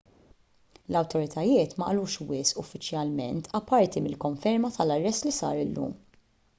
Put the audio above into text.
l-awtoritajiet ma qalux wisq uffiċjalment apparti mill-konferma tal-arrest li sar illum